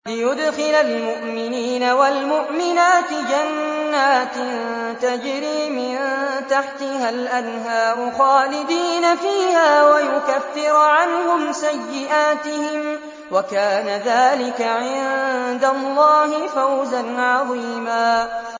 لِّيُدْخِلَ الْمُؤْمِنِينَ وَالْمُؤْمِنَاتِ جَنَّاتٍ تَجْرِي مِن تَحْتِهَا الْأَنْهَارُ خَالِدِينَ فِيهَا وَيُكَفِّرَ عَنْهُمْ سَيِّئَاتِهِمْ ۚ وَكَانَ ذَٰلِكَ عِندَ اللَّهِ فَوْزًا عَظِيمًا